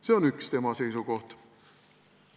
" See on üks tema seisukoht.